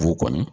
Fogo kɔni